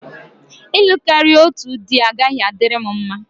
Ịlụ karịa otu dị agaghị adịrị m mma.